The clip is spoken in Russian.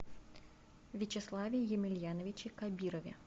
вячеславе емельяновиче кабирове